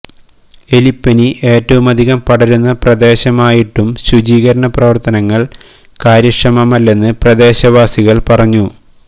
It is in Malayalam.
എലിപ്പനി ഏറ്റവുമധികം പടരുന്ന പ്രദേശമായിട്ടും ശുചീകരണ പ്രവർത്തനങ്ങൾ കാര്യക്ഷമമല്ലെന്ന് പ്രദേശവാസികൾ പറഞ്ഞു